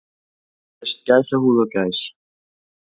Hér sést gæsahúð á gæs.